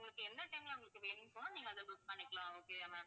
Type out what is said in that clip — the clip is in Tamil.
உங்களுக்கு என்ன time ல உங்களுக்கு வேணுமோ நீங்க அதை book பண்ணிக்கலாம். okay yeah ma'am